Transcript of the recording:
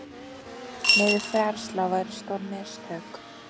Niðurfærsla væri stór mistök